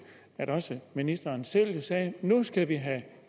at også ministeren selv sagde nu skal vi have